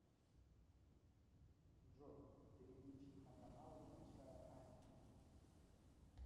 джой переключить на каналы большая азия